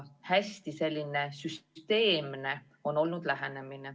Lähenemine on olnud hästi süsteemne.